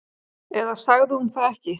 Eða sagði hún það ekki?